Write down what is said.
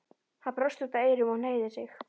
Hann brosti út að eyrum og hneigði sig.